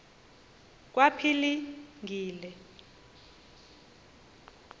kwaphilingile